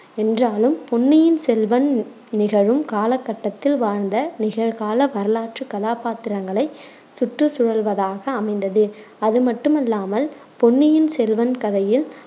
என்றாலும் பொன்னியின் செல்வன் நிகழும் காலகட்டத்தில் வாழ்ந்த நிகழ்கால வரலாற்றுக் கதாப்பாத்திரங்களை சுற்றி சுழல்வதாக அமைந்தது. அதுமட்டுமல்லாமல், பொன்னியின் செல்வன் கதையில்